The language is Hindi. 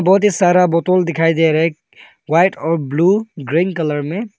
बहुत ही सारा बॉतल दिखाई दे रहा है व्हाइट और ब्लू ग्रीन कलर में।